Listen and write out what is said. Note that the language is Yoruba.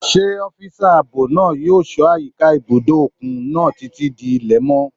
Ṣé ọ́físà ààbò náà yóò ṣọ́ àyíká ibùdó òkun náà títí di ilẹ̀ mọ́?